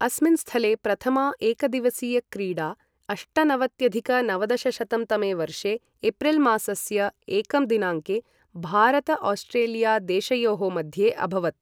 अस्मिन् स्थले प्रथमा एकदिवसीयक्रीडा अष्टनवत्यधिक नवदशशतं तमे वर्षे एप्रिलमासस्य एकं दिनाङ्के भारत ऑस्ट्रेलिया देशयोः मध्ये अभवत् ।